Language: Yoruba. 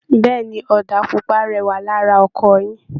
Bẹ́ẹ̀ ni, ọ̀dà pupa rẹwà lara ọkọ̀ yín